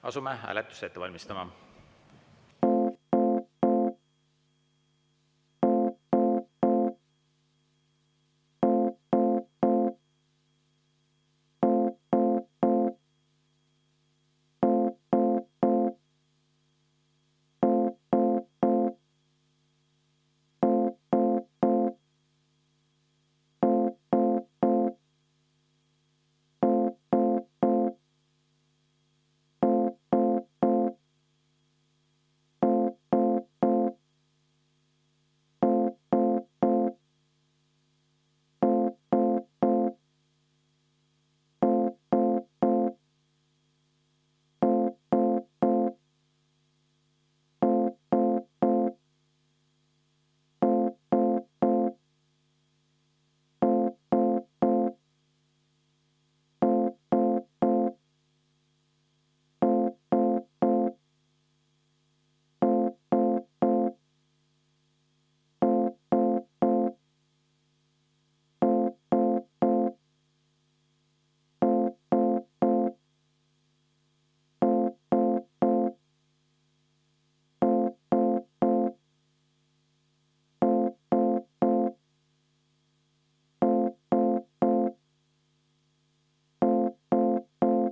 Asume hääletust ette valmistama.